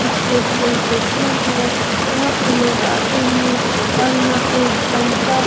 state Bank ATM है यहाँ पे लोग आते हैं और यहाँ पे एक सविता --